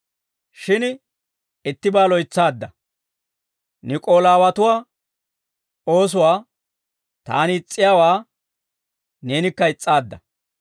Shin ittibaa loytsaadda; Niik'oolaawatuwaa oosuwaa, taani is's'iyaawaa neenikka is's'aadda.